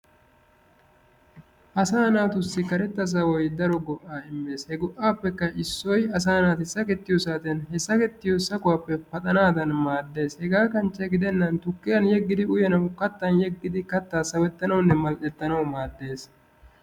Asaa naatussi karetta sawoyi daro go"aa immes. He go"aappekka issoyi asaa naati sakettiyo saatiyan he sakettiyo sahuwappe paxanaadan maaddes. Hegaa kanchche gidennan tukkiyan yeggidi uyanawu kattan yeggidi kattaa sawettanawunne mall"ettanawu maaddes.